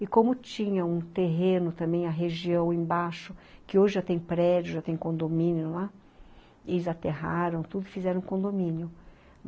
E como tinha um terreno também, a região embaixo, que hoje já tem prédio, já tem condomínio lá, eles aterraram tudo e fizeram condomínio.